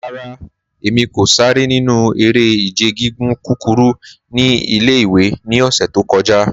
Rara, Emi ko sare ninu ere-ije gigun kukuru ni ile-iwe ni ọsẹ to kọja.